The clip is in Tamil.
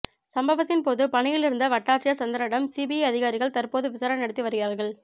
சம்பவத்தின்போது பணியில் இருந்த வட்டாட்சியர் சந்திரனிடம் சிபிஐ அதிகாரிகள் தற்போது விசாரணை நடத்தி வருகிறார்கள்